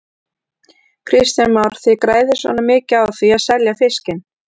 Kristján Már: Þið græðið svona mikið á því að selja fiskinn?